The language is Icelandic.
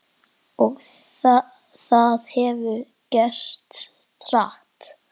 Og það hefur gerst hratt.